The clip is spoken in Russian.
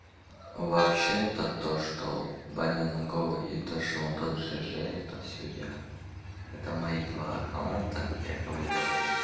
вообще-то то что баня на голой и тоже он жж это всё я это мои два аккаунта якобы говорю